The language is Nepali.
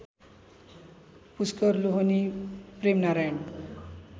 पुष्कर लोहनी प्रेमनारायण